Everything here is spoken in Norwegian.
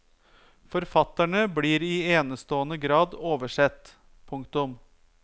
Forfatterne blir i enestående grad oversett. punktum